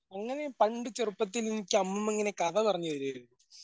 അങ്ങനെ പണ്ട് ചെറുപ്പത്തിലെനിക്ക് അമ്മൂമ്മ ഇങ്ങനെ കഥ പറഞ്ഞുതരുവാരുന്നു.